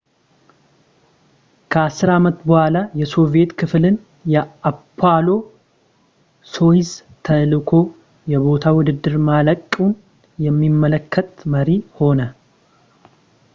ከአስር ዓመት በኋላ የሶቪዬት ክፍልን የአፖሎ ሶዩዝ ተልዕኮ የቦታ ውድድር ማለቁን የሚያመለክት መሪ ሆነ